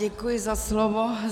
Děkuji za slovo.